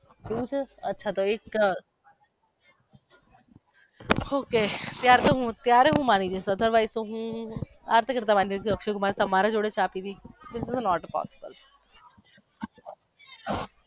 એવું છે અચ્છા તો એક ok તો ત્યારે હું માંની જયસ otherwise હું અક્ષય કુમાર એ મારી જોડે મારી જોડે ચા પીધી that is not a possible